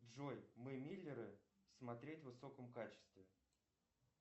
джой мы миллеры смотреть в высоком качестве